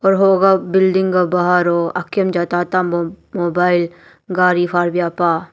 hugvh building gvh bhar hoh akium jah tata mobile gari haryah pah.